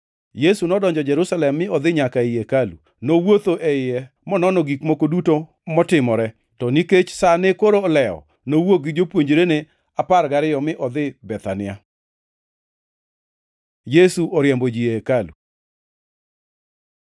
Yesu nodonjo Jerusalem mi odhi nyaka ei hekalu. Nowuotho e iye monono gik moko duto motimore, to nikech sa ne koro olewo, nowuok gi jopuonjrene apar gariyo mi odhi Bethania. Yesu oriembo ji ei hekalu